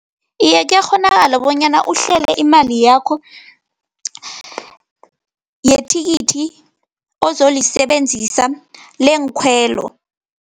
Iye, kuyakghonakala bonyana uhlele imali yakho, yethikithi, ozolisebenzisa leenkhwelo.